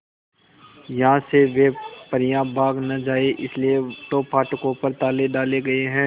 यहां से वे परियां भाग न जाएं इसलिए तो फाटकों पर ताले डाले गए हैं